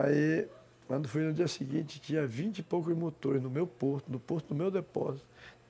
Aí, quando fui no dia seguinte, tinha vinte e poucos motores no meu porto, no porto do meu depósito.